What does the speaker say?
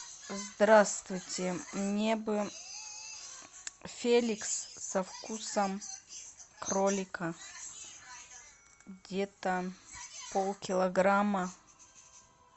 здравствуйте мне бы феликс со вкусом кролика где то полкилограмма